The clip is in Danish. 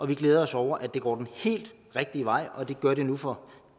vi glæder os over at det går den helt rigtige vej og det gør det nu for